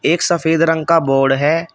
एक सफेद रंग का बोर्ड है।